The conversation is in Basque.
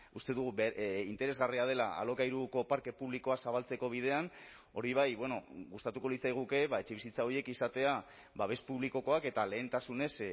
uste dugu interesgarria dela alokairuko parke publikoa zabaltzeko bidean hori bai gustatuko litzaiguke etxebizitza horiek izatea babes publikokoak eta lehentasunez